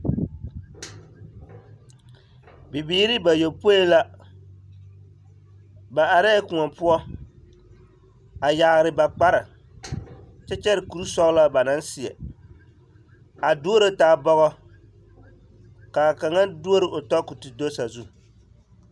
Bibiiri bayɔpoi la ba arɛɛ koɔ poɔ a yaare ba kpare kyɛ kyɛre kuri sɔgelaa banaŋ seɛ a duro taa bɔgɔ ka a kaŋa duoro o tɔ ka o te do sazu.